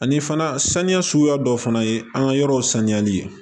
Ani fana saniya suguya dɔw fana ye an ka yɔrɔw saniyali ye